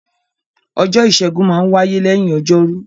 Ọjọ́ Ìṣẹ́gun maa n wáyé lẹ́yìn Ọjọ́rú